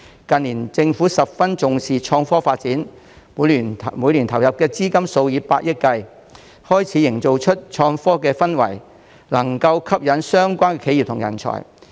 近年政府十分重視創科發展，每年投入資金數以百億元，開始營造出創科的氛圍，能吸引相關企業及人才。